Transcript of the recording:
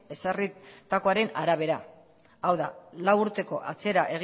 ezarritakoaren arabera hau da lau urteko atzera